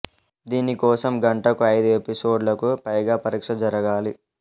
దీని కోసం గంటకు ఐదు ఎపిసోడ్లకు పైగా పరీక్ష జరగాలి